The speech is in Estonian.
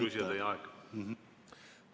Hea küsija, teie aeg!